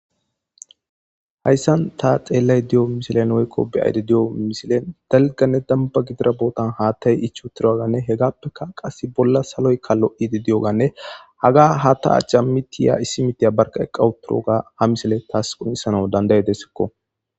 hayssan ta xeellay di7o misilen woykko biyaydi di7o misilen delganne damba gidira bootan haattay ichotiraganne he gaappeka qasse bolla saloykkalo7idi di7oganne haga ha ta acha mitiya issi mitiya barka eqqawuturoga ha misile taas qonisana dandayedesekko